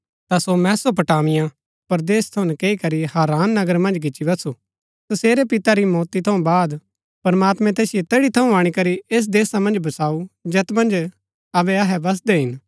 ता सो मेसोपोटामिया परदेस थऊँ नकैई करी हारान नगर मन्ज गिच्ची बसु तसेरै पिते री मौती थऊँ बाद प्रमात्मैं तैसिओ तैड़ी थऊँ अणीकरी ऐस देशा मन्ज बसाऊँ जैत मन्ज अबै अहै बसदै हिन